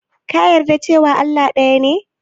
Ka yarda cewa Allah ɗaya ne?